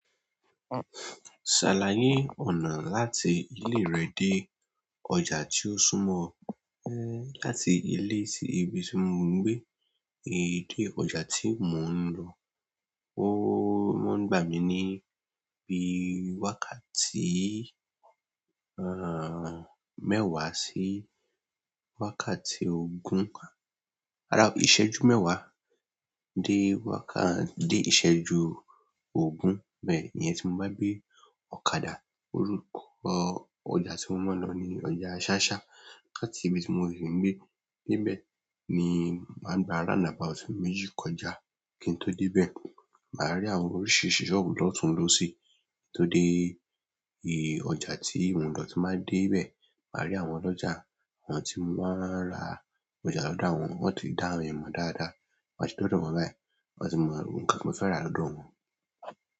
Ṣàlàyé ọ̀nà láti ilé rẹ dé ọjà tí ó súnmọ́ ọ. Ẹ́ láti ilé sí ibi tí mo ń gbé é dé ọjà tí mò ń lọ. Ó mọ́n gbà mí ní bí i wákàtí, àh, mẹ́wàá sí wákàtí ogún, ràrá, ìṣẹ́jú mẹ́wàá dé wákà, dé ìṣẹ́jú ogún, bẹ́ẹ̀ íyẹn tí mo bá gbé ọ̀kadà. Orúkọ ọjà tí mo máa ń lọ ni ọjà ṣáṣá. Láti ibi tí mo si ń gbé, dé ibẹ̀ ni màá gba roundabout méjì kọjá kí n tó dé ibẹ̀. Màá rí àwọn oríṣiríṣi sọ́ọ̀bù lọ́tùn losí tó dé ì ọjà tí mò ń lọ. Tín bàá dé ibẹ̀, màá rí àwọn ọlọ́jà, àwọn tí màá ra ọjà lọ́dọ̀ wọn. Wọ́n ti dá mi mọ̀ dáadáa, tin ba ti dọdọ báyìí, wọ́n ti mọ nkan ti mo fẹ́ ra lọ́dọ̀ wọn.